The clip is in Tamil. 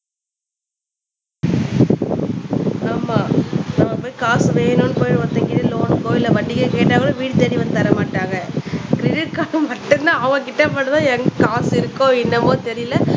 ஆமா நம்ம போய் காசு வேணும்னு போய் ஒருத்தங்க லோன்க்கோ இல்ல வட்டிக்கோ கேட்டா கூட வீடு தேடி வந்து தர மாட்டாங்க கிரெடிட் கார்டு மட்டும்தான் அவன் கிட்ட மட்டும்தான் எங்க காசு இருக்கோ என்னமோ தெரியல